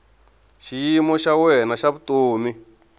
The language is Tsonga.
xiyimo xa wena xa vutomi